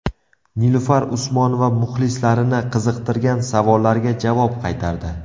Nilufar Usmonova muxlislarini qiziqtirgan savollarga javob qaytardi.